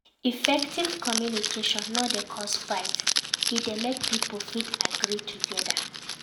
Effective communication no dey cause fight e de make pipo fit agree together